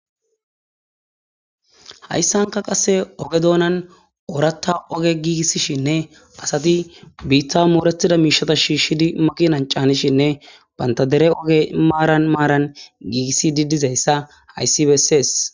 Hayssanka qasse oge doonan oratta oge giigissishinne asati biitta mooretida miishata shiishshidi maqinan caanishinne bantadere oge maaran maaran giigissi didizayssa hayssi bessees.